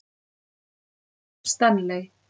Stanley